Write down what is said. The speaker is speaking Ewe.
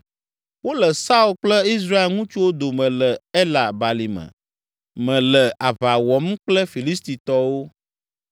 Wole Saul kple Israel ŋutsuwo dome le Ela balime me le aʋa wɔm kple Filistitɔwo.”